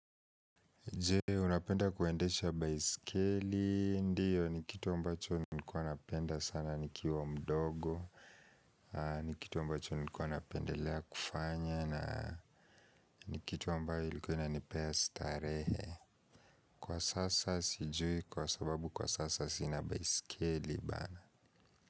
Je, unapenda kuendesha baiskeli? Ndiyo, ni kitu ambacho nilikuwa napenda sana nikiwa mdogo. Ni kitu ambacho nilikuwa napendelea kufanya na ni kitu ambayo ilikuwa inanipea starehe. Kwa sasa sijui kwasababu kwa sasa sina baiskeli bana.